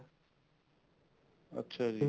ਅੱਛਾ ਜੀ